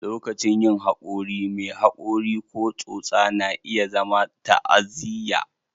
Lokacin yin haƙori, mai haƙori ko tsotsa na iya zama ta'aziyya